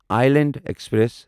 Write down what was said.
island express